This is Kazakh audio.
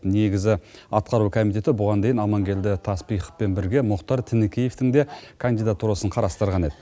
негізі атқару комитеті бұған дейін амангелді таспиховпен бірге мұхтар тінікеевтің де кандидатурасын қарастырған еді